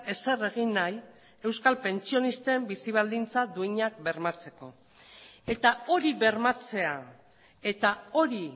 ezer egin nahi euskal pentsionisten bizi baldintza duinak bermatzeko eta hori bermatzea eta hori